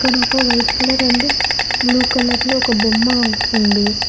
ఆడ ఒక white colour and blue colour లో ఒక బొమ్మ ఉంది.